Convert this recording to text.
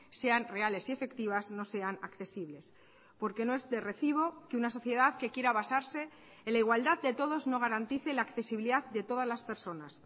sean reales y efectivas no sean accesibles porque no es de recibo que una sociedad que quiera basarse en la igualdad de todos no garantice la accesibilidad de todas las personas